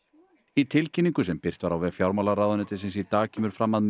í tilkynningu sem birt var á vef fjármálaráðuneytisins í dag kemur fram að